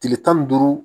Tile tan ni duuru